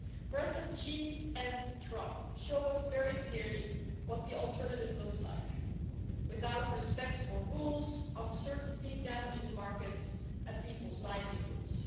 Presidents Xi and Trump show us very clearly what the alternative looks like with no respect for rules, uncertainty damages markets and people's livelihoods.